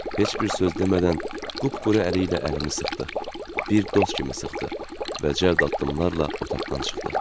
Heç bir söz demədən qupquru əli ilə əlimi sıxdı, bir dost kimi sıxdı və cəld addımlarla otaqdan çıxdı.